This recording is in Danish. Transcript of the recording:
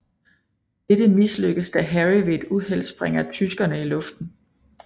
Dette mislykkes da Harry ved et uheld sprænger tyskerne i luften